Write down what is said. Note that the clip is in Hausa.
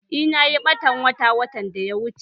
Eh, nayi ɓatan wata watan da ya wuche